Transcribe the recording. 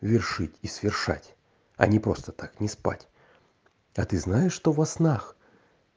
вершить и свершать а не просто так не спать а ты знаешь что во снах